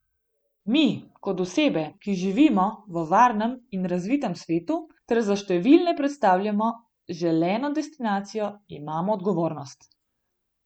Mi, kot osebe, ki živimo v varnem in razvitem svetu ter za številne predstavljamo želeno destinacijo, imamo odgovornost.